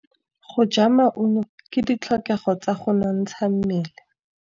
Go ja maungo ke ditlhokegô tsa go nontsha mmele.